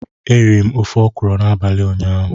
Eriri m ofe okwụrụ n'abalị ụnyaahụ.